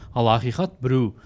ал ақиқат біреу